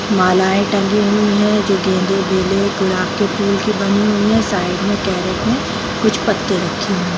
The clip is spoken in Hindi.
मालाएं टंगी हुई हैं जो गेंदे बेले गुलाब की फूल की बनी हुई है साइड मे कैरट मे कुछ पत्ते रखे हैं |